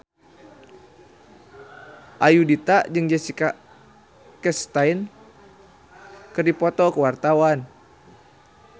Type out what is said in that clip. Ayudhita jeung Jessica Chastain keur dipoto ku wartawan